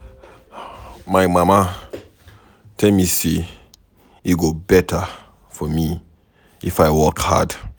My mama tell me say e go better for me if I work hard.